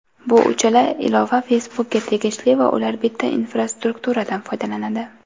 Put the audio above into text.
bu uchala ilova Facebook’ga tegishli va ular bitta infrastrukturadan foydalanadi.